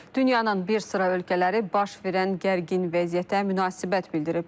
Dünyanın bir sıra ölkələri baş verən gərgin vəziyyətə münasibət bildiriblər.